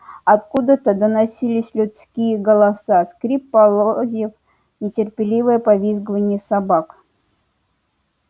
откуда-то доносились людские голоса скрип полозьев нетерпеливое повизгивание собак